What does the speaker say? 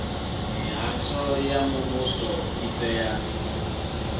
mihasho ya muvhuso i tea